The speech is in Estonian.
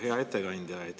Hea ettekandja!